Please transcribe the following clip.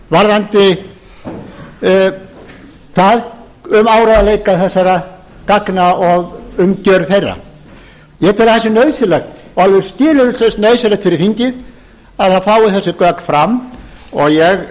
varðandi það um áreiðanleika þessara gagna og umgjörð þeirra ég tel að það sé nauðsynlegt og alveg skilyrðislaust nauðsynlegt fyrir þingið að það fái þessi gögn fram og ég